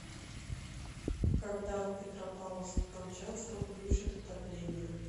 когда в петропавловске камчатском включат отопление